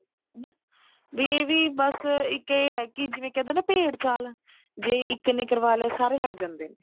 ਵੀ ਇਹ ਵੀ ਬੱਸ ਇੱਕ ਇਹ ਹੈ ਕਿ ਜਿਵੇਂ ਕਹਿ ਦੋ ਨਾ ਭੇਡ ਚਾਲ ਜੇ ਇੱਕ ਨੇ ਕਰਵਾ ਲਿਆ ਸਾਰੇ ਲੱਗ ਜਾਂਦੇ ਨੇ